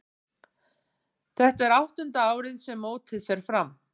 Þetta er áttunda árið sem mótið fer fram.